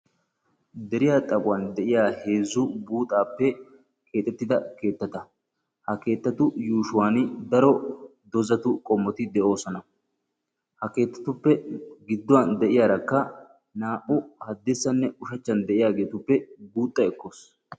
deriya xaphphon de'iya heezzu keettati nuusi beetoosona. ha keettatuppe bola bagaara deree beettees.